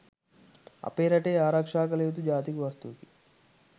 අපේ රටේ ආරක්‍ෂා කළ යුතු ජාතික වස්තුවකි.